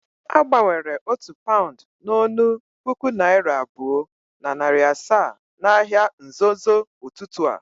Agbanwere otu paund n'onu puku naira abuo na nari asaa n'ahia nzozo ututu a.